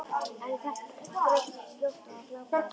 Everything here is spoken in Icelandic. En ég þreyttist fljótt á að glápa á þetta.